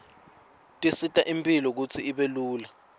tisita imphilo kutsi ibe lula